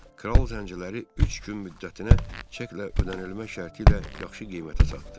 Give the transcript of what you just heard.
Kral zənciləri üç gün müddətinə çəklə ödənilmə şərti ilə yaxşı qiymətə satdı.